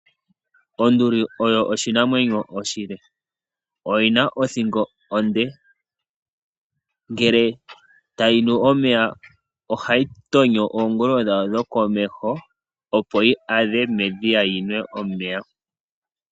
Onduli oyo oshinamwenyo oshile. Oyina othingo onde. Ngele tayi nu omeya ohayi tonyo oongolo dhayo dhokomeho opo yi adhe medhiya yinwe omeya.